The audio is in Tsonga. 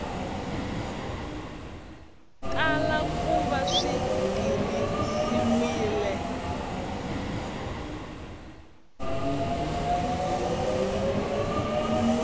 tala ku va swi tirhisiwile